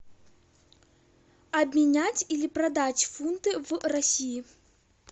обменять или продать фунты в россии